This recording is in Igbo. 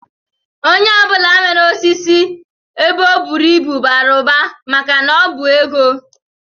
Onye ọ bụla nwere osisi ebe o buru ibu bara ụba maka na ọ bụ ego